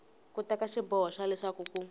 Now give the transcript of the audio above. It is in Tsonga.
teka xiboho xa leswaku ku